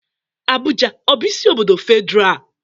Abuja ọ bụ isi obodo Federal?